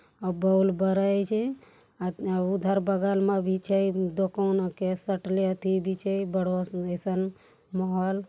और बल्ब बरई छे आ उधर बगल में भी छे दुकान के सटले येथी बिछई बड़ो अइसन माहौल --